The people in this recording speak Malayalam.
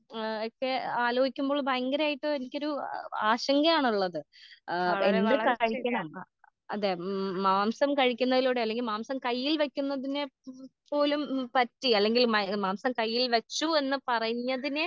ഏ എക്കെ ആലോയ്ക്കുമ്പോൾ ഭയങ്കരയിട്ട് എനിക്കൊരു ആ ആ ആശങ്കയാണുള്ളത് ആ എന്ത് കാണിക്കണം ആ അതെ ഉം മാംസം കഴിക്കുന്നതിലൂടെ അല്ലെങ്കിൽ മാംസം കയ്യിൽ വെക്കുന്നതിനെ പ്‌ പോലും ഉം പറ്റി അല്ലെങ്കിൽ മാംസം കയ്യിൽ വെച്ചൂ എന്ന് പറഞ്ഞതിനെ.